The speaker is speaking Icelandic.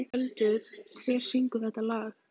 Skjöldur, hver syngur þetta lag?